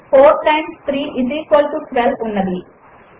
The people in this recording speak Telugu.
4 టైమ్స్ 3 ఐఎస్ ఈక్వల్ టో 12 ఉన్నది